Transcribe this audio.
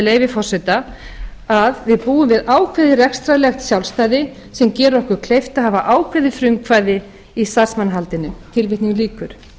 leyfi forseta að við búum við ákveðið rekstrarlegt sjálfstæði sem gerir okkur kleift að hafa ákveðið frumkvæði í starfsmannahaldinu ég